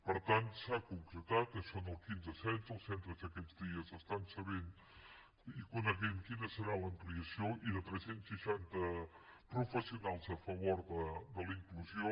per tant s’ha concretat això en el quinze setze els centres aquests dies estan sabent i coneixent quina serà l’ampliació de tres cents i seixanta professionals a favor de la inclusió